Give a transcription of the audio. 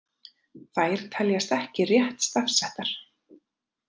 Þær teljast ekki rétt stafsettar.